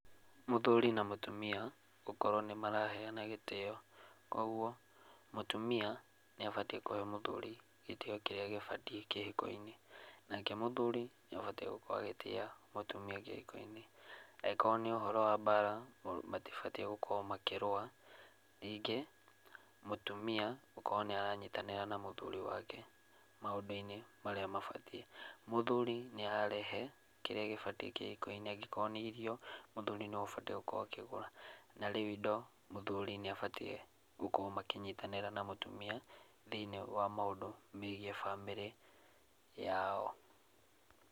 Mũthuri na mũtumia gũkoro nĩ maraheana gĩtĩo, koguo mũtumia nĩ abatiĩ kũhe mũthũri gĩtĩo kĩrĩa gĩbatiĩ kĩhiko-inĩ, nake mũthuri nĩ abatiĩ gũkorwo agĩtĩa mũtumia kĩhiko-inĩ , angĩkorwo nĩ ũhoro wa bara matibatiĩ gũkorwo makĩrũa, ningĩ mũtumia gũkorwo nĩ aranyitanĩra na mũthuri wake maũndũ-inĩ marĩa mabatiĩ, mũthuri nĩ ararehe kĩrĩa gĩbatiĩ kĩhiko-inĩ, angĩkorwo nĩ irio mũthuri nĩ we ũbatiĩ gũkorwo akĩgũra, na rĩu indo mũthuri nĩ abatiĩ gũkorwo makĩnyitanĩra na mũtumia thĩiniĩ wa maũndũ megiĩ bamĩrĩ yao.